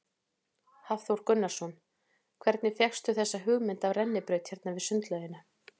Hafþór Gunnarsson: Hvernig fékkstu þessa hugmynd af rennibraut hérna við sundlaugina?